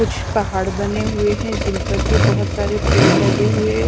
कुछ पहाड़ बने हुए हैं जिन पर भी बहुत सारे पेड़ लगे हुए हैं।